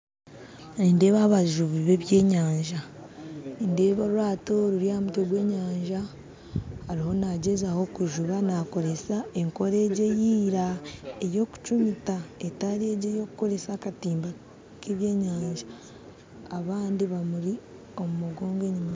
Nindeeba abajubi byenyanja nindeeba orwato ruri aha mutwe gw'enyanja ariho nagyezaho kujuba nakoresa ekora egyo eyaira eyokucumita etari egyo ey'okukoresa akatimba k'ebyenyanja abandi bamuri omu mugongo enyuma